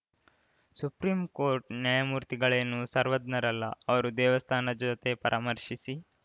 supreme court ನ್ಯಾಯಮೂರ್ತಿಗಳೇನು ಸರ್ವಜ್ಞರಲ್ಲ ಅವರು ದೇವಸ್ಥಾನ ಜೊತೆ ಪರಾಮರ್ಶಿಸಿ